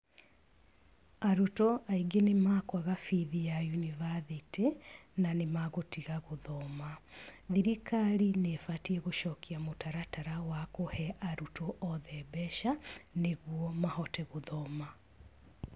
Arutwo aingĩ nĩ makwaga bithi ya yunibathĩtĩ na nĩ magũtiga gũthoma. Thirikari nĩ ĩbatiĩ gũcokia mũtaratara wa kũhe arutwo othe mbeca, nĩguo mahote gũthoma.